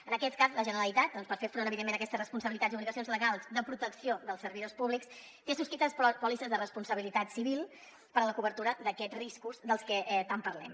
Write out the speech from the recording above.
en aquest cas la generalitat per fer front evidentment a aquestes responsabilitats i obligacions legals de protecció dels servidors públics té subscrites pòlisses de responsabilitat civil per a la cobertura d’aquests riscos dels que tant parlem